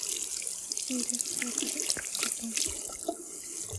сири закажи корм коту